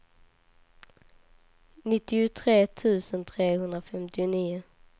nittiotre tusen trehundrafemtionio